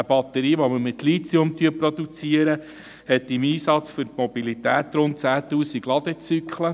Eine Batterie, die wir mit Lithium produzieren, hat im Einsatz für die Mobilität rund 10 000 Ladezyklen.